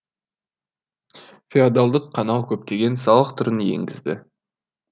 феодалдық қанау көптеген салық түрін енгізді